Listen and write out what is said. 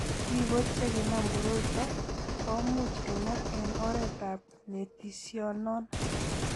Biko che kinam koroi ito komuch kenya eng' oretab nitisinone .